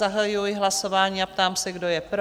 Zahajuji hlasování a ptám se, kdo je pro?